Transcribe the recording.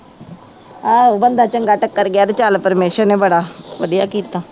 ਆਹੋ ਬੰਦਾ ਚੰਗਾ ਟੱਕਰ ਗਿਆ ਤੇ ਚੱਲ ਪ੍ਰਮੇਸ਼ਰ ਨੇ ਬੜਾ ਵਧੀਆ ਕੀਤਾ।